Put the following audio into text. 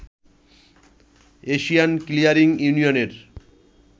Asian clearing ইউনিয়নের